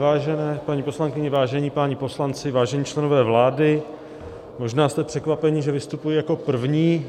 Vážené paní poslankyně, vážení páni poslanci, vážení členové vlády, možná jste překvapeni, že vystupuji jako první.